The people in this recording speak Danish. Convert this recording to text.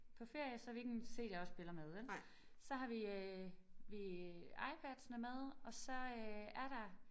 På ferie så har vi ikke en cd-afspiller med vel. Så har vi øh vi iPadsene med og så øh er der